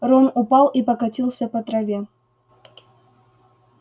рон упал и покатился по траве